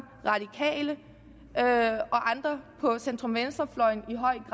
radikale og andre på centrum venstre fløjen